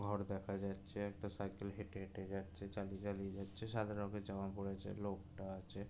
ঘর দেখা যাচ্ছে একটা সাইকেল হেঁটে হেঁটে যাচ্ছে চালিয়ে চালিয়ে যাচ্ছে সাদা রঙের জামা পরে যে লোকটা আছে--